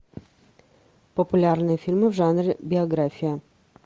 популярные фильмы в жанре биография